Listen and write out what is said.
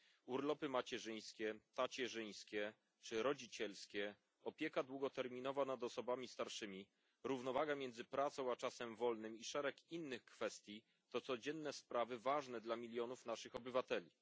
Urlopy macierzyńskie, tacierzyńskie czy rodzicielskie, opieka długoterminowa nad osobami starszymi, równowaga między pracą a czasem wolnym i szereg innych kwestii to codzienne sprawy ważne dla milionów naszych obywateli.